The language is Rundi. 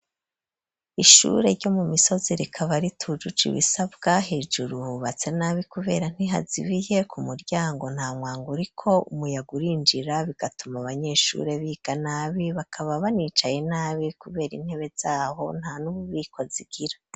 Ishure ryo mu misozi rikaba ritujuje ibisabwa, hejuru hubatse nabi kubera ntihazibiye, ku muryango nta mwango uriko umuyaga urinjira bigatuma abanyeshure biga nabi, bakaba banicaye nabi kubera intebe zaho nta n'ububiko zigira.